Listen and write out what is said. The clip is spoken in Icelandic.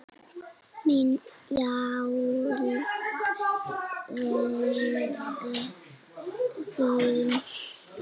Mín hjálp væri í þeim.